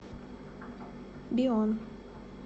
бион